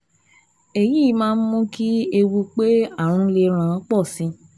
Èyí máa ń mú kí ewu pé ààrùn lè ràn ọ́ pọ̀ sí i